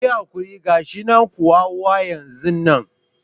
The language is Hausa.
Kuyi hakuri gashinan kuwa wa yanzu nan